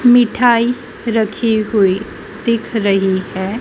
मिठाई रखी हुई दिख रही है।